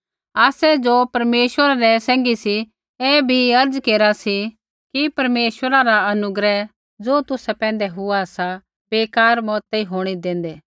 आसै ज़ो परमेश्वरा रै सैंघी सी ऐ भी अर्ज़ केरा सी कि परमेश्वरै रा अनुग्रह ज़ो तुसा पैंधै हुआ सा बेकार मतेई होंणै देंदै